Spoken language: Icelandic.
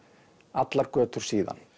allar götur síðan